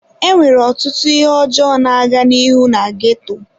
Enwere ọtụtụ ihe ọjọọ na-aga n'ihu na ghetto.